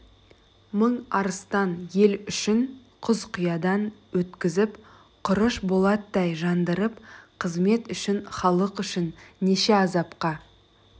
мың арыстан ел үшін құз қиядан өткізіп құрыш болаттай жандырып қызмет үшін халық үшін неше азапқа